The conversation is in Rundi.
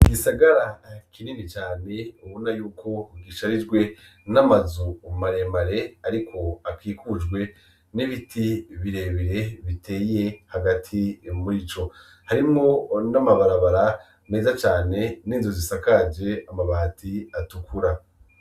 Igisagara kinini cane ubona yuko gisharijwe n'amazu maremare ariko akikujwe n'ibiti birebire biteye hagati murico; harimwo n'amabarabara meza cane n'inzu zisakaje amabati atukura.